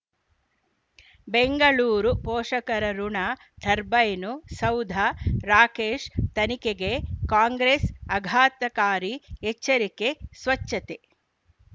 ಬೆಂಗಳೂರು ಪೋಷಕರಋಣ ಟರ್ಬೈನು ಸೌಧ ರಾಕೇಶ್ ತನಿಖೆಗೆ ಕಾಂಗ್ರೆಸ್ ಆಘತಕಾರಿ ಎಚ್ಚರಿಕೆ ಸ್ವಚ್ಛತೆ